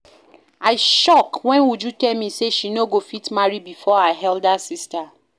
I shock wen Uju tell me say she no go fit marry before her elder sister